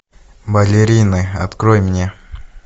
балерины открой мне